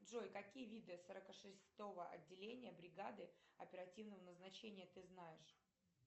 джой какие виды сорока шестого отделения бригады оперативного назначения ты знаешь